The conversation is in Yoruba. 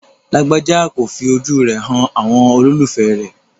Lágbájà kò fi ojú rẹ̀ han àwọn olólùfẹ̀ẹ́ rẹ̀.